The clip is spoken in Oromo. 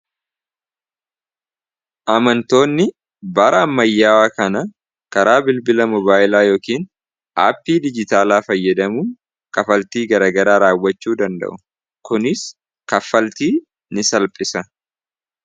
amantoonni baraan mayyaawaa kana karaa bilbila mobaayilaa yookiin aappii dijitaalaa fayyadamuun kafaltii garagaraa raawwachuu danda'u kunis kaffaltii n salphisa